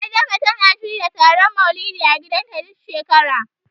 Adama tana shirya taron Maulidi a gidanta, duk shekara.